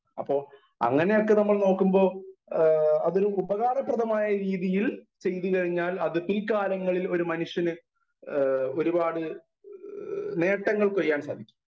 Speaker 1 അപ്പോ അങ്ങനെയൊക്കെ നമ്മൾ നോക്കുമ്പോ ആ അതൊരു ഉപകാരപ്രദമായ രീതിയിൽ ചെയ്തുകഴിഞ്ഞാൽ അത് പിൽക്കാലങ്ങളിൽ ഒരു മനുഷ്യന് എ ഒരുപാട് നേട്ടങ്ങൾ കൊയ്യാൻ സാധിക്കും.